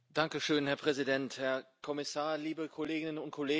Herr Präsident, Herr Kommissar, liebe Kolleginnen und Kollegen!